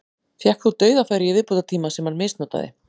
Fékk þó dauðafæri í viðbótartíma sem hann misnotaði.